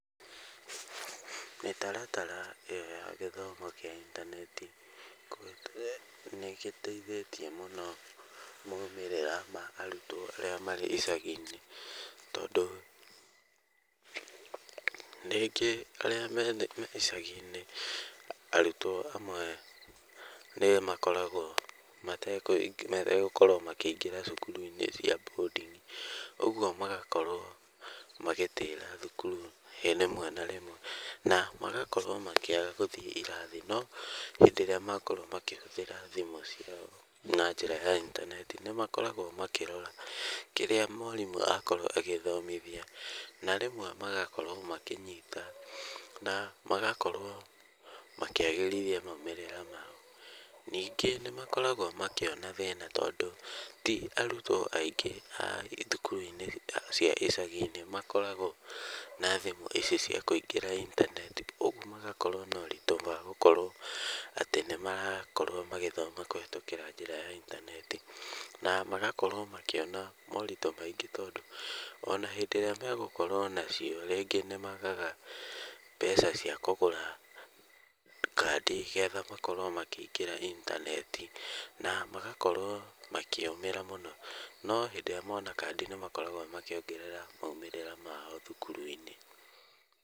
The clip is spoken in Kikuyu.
Mĩtaratara ĩyo ya gĩthomo kĩa intaneti nĩ ĩgĩteithĩtie mũno maumĩrĩra ma arutwo arĩa marĩ icagi-nĩ, tondũ rĩngĩ arĩa me icagi-inĩ, arutwo amwe ni makoragwo mategũkorwo makĩingĩra cukuru-inĩ cia boarding, ũguo magakorwo magĩtĩra thukuru rĩmwe na rĩmwe na magakorwo makĩaga gũthiĩ irathi, no hĩndĩ ĩrĩa makorwo makĩhũthĩra thimũ ciao na njĩra ya intaneti, nĩ makoragwo makĩrora kĩrĩa mwarimũ akorwo agĩthomithia, na rĩmwe magakorwo makĩnyita na magakorwo makĩagĩrithia maumĩrĩra mao. Ningĩ nĩmakoragwo makĩona thĩna, tondũ ti arutwo aingĩ thukuru-inĩ cia icagi-nĩ makoragwo na thimũ ici cia kũingĩra intaneti, ũguo magakorwo na ũritũ wa gũkorwo atĩ nĩ marakorwo magĩthoma kũhetũkĩra njĩra ya intaneti na magakorwo makĩona moritũ maingĩ, tondũ ona hĩndĩ ĩrĩa megũkorwo nacio-rĩ rĩngĩ nĩmagaga mbeca cia kũgũra kandi getha makorwo makĩingĩra intaneti na magakorwo makĩũmĩra mũno, no hĩndĩ ĩrĩa mona kandi nĩ makoragwo makĩongerera maumĩrĩra mao thukuru-inĩ.